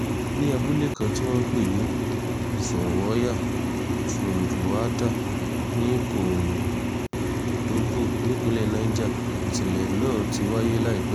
ní abúlé kan tí wọ́n ń pè ní zọwọ́yà túndúnwádà ní kòńdóńgò nípńlẹ̀ niger nìṣẹ̀lẹ̀ náà ti wáyé láìpẹ́ yìí